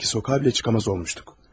Öylə ki sokağa belə çıxamaz olmuşduq.